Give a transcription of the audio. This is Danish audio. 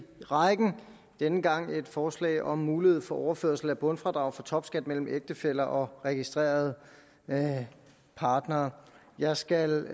rækken denne gang et forslag om mulighed for overførsel af bundfradrag for topskat mellem ægtefæller og registrerede partnere jeg skal